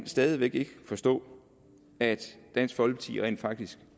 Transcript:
stadig væk ikke kan forstå at dansk folkeparti rent faktisk